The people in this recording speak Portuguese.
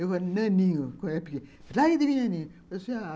Eu falei, naninho, quando era pequeno, larga de mim, naninho.